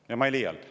Ja ma ei liialda.